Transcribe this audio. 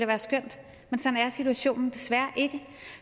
være skønt men sådan er situationen desværre ikke